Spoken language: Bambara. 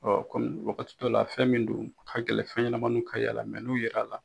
Ɔ kɔmi wagati dɔ la fɛn min don a ka gɛlɛn fɛn ɲɛnamaniw ka y'ala mɛ n'u yer'ala